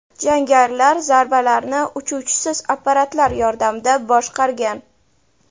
Jangarilar zarbalarni uchuvchisiz apparatlar yordamida boshqargan.